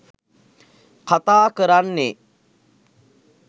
කතා කරන්නේ.